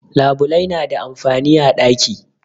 Labulai na da amfani a daki.